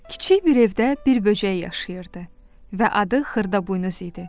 Kiçik bir evdə bir böcək yaşayırdı və adı Xırdaboynuz idi.